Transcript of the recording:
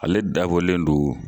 Ale dabɔlen do